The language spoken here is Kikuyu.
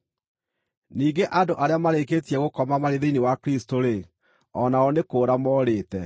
Ningĩ andũ arĩa marĩkĩtie gũkoma marĩ thĩinĩ wa Kristũ-rĩ, o nao nĩ kũũra morĩte.